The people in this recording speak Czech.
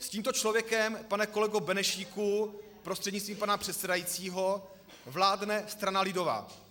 S tímto člověkem, pane kolego Benešíku prostřednictvím pana předsedajícího vládne strana lidová.